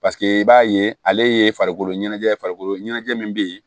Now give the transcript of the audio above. Paseke i b'a ye ale ye farikolo ɲɛnajɛ farikolo ɲɛnajɛ min bɛ ye